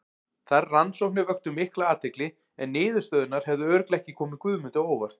Þær rannsóknir vöktu mikla athygli en niðurstöðurnar hefðu örugglega ekki komið Guðmundi á óvart.